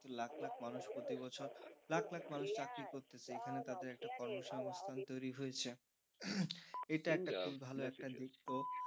লাখ লাখ মানুষ প্রতি বছর লাখ লাখ মানুষ চাকরি করতেছে এখানে তাদের একটা কর্মসংস্থান তৈরি হয়েছে, এটা একটা খুবই ভালো একটা দিক তো,